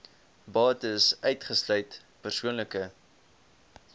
bates uitgesluit persoonlike